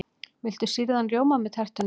Viltu sýrðan rjóma með tertunni?